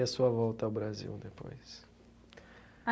E a sua volta ao Brasil depois? A.